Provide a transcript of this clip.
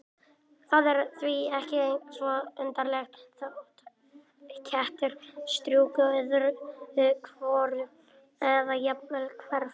Það er því ekki svo undarlegt þótt kettir strjúki öðru hvoru eða jafnvel hverfi.